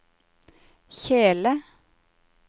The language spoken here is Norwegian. kjele